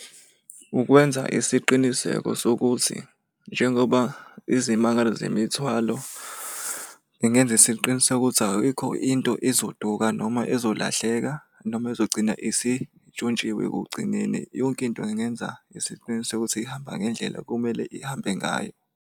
Ukwenza isiqiniseko sokuthi njengoba izimangalo zemithwalo, ngingenza isiqiniseko sokuthi ayikho into ezoduka noma ezolahleka noma ezogcina isintshontshiwe ekugcineni. Yonke into ngingenza isiqiniseko sokuthi ihamba ngendlela okumele ihambe ngayo.